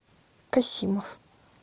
касимов